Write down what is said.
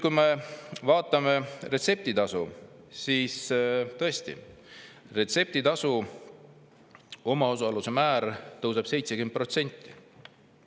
Kui me vaatame retseptitasu, siis tõesti, selle omaosaluse määr tõuseb 70%.